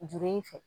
Juru in fɛ